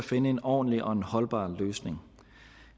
finde en ordentlig og holdbar løsning